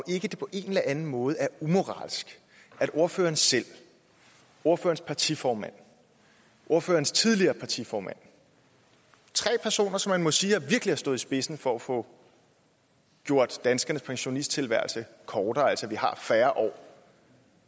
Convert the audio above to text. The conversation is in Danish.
ikke på en eller anden måde er umoralsk at ordføreren selv ordførerens partiformand ordførerens tidligere partiformand tre personer som man må sige virkelig har stået i spidsen for at få gjort danskernes pensionisttilværelse kortere altså at vi har færre år